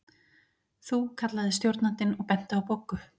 Þú kallaði stjórnandinn og benti á Boggu.